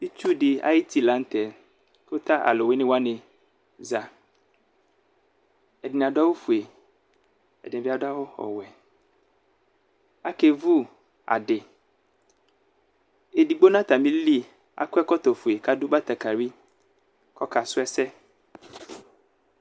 Itsudi ayʋ uti lanʋ tɛ kʋ tʋ alʋwini wani za ɛdini adʋ awʋfue ɛdini bi adʋ awʋ ɔwɛ akevʋ adi edigbo nʋ atamili akɔ ɛkɔtɔfue kʋ adʋ batakali kʋ ɔkasʋ ɛsɛ